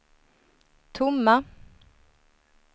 tomma